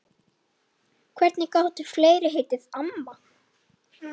Hvernig gátu fleiri heitið amma?